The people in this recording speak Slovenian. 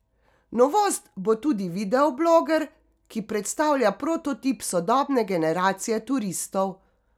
Novost bo tudi videobloger, ki predstavlja prototip sodobne generacije turistov.